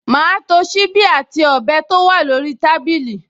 Màá to ṣíbí àti ọ̀bẹ tó wà lórí tábìlì